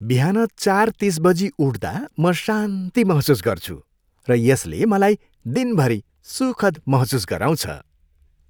बिहान चार तिस बजी उठ्दा म शान्ति महसुस गर्छु र यसले मलाई दिनभरि सुखद महसुस गराउँछ।